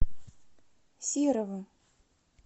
серого